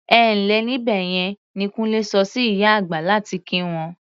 "Ẹ ǹ lẹ́ níbẹ̀ yẹn" ni Kúnlé sọ sí ìyá àgbà láti kí wọn.